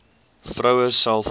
vroue self opgespoor